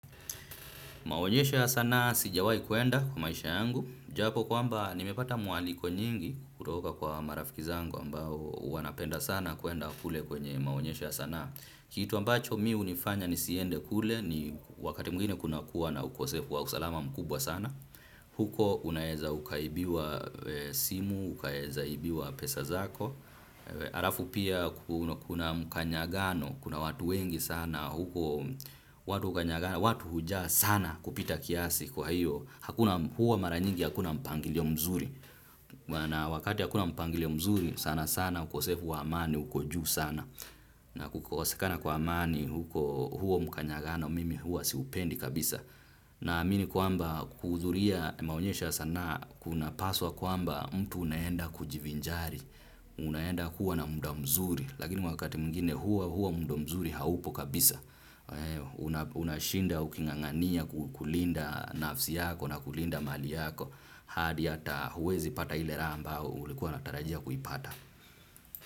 Maonyesho ya sanaa sijawai kuenda kwa maisha yangu, japo kwamba nimepata mwaliko nyingi kutoka kwa marafiki zangu ambao wanapenda sana kuenda kule kwenye maonyesho ya sanaa. Kitu ambacho mi hunifanya nisiende kule ni wakati mwingine kuna kuwa na ukosefu wa usalama mkubwa sana. Huko unaeza ukaibiwa simu, ukaeza ibiwa pesa zako. Arafu pia kuna mkanyagano, kuna watu wengi sana. Huko watu hukanyagana watu hujaa sana kupita kiasi kwa hiyo huwa mara nyingi hakuna mpangilio mzuri. Na wakati hakuna mpangilio mzuri sana sana ukosefu wa amani, uko juu sana. Na kukosekana kwa amani, huo mkanyagano, mimi huwa siupendi kabisa. Naamini kwamba kuhudhuria maonyesho ya sana kunapaswa kwamba mtu unaenda kujivinjari. Unaenda kuwa na mda mzuri. Lakini wakati mwingine huwa mda mzuri haupo kabisa. Unashinda ukingangania kulinda nafsi yako na kulinda mali yako. Hadi ata huwezi pata ile raha ambao ulikuwa unatarajia kuipata.